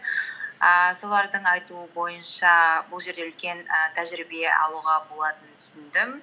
ііі солардың айтуы бойынша бұл жерде үлкен і тәжірибе алуға болатынын түсіндім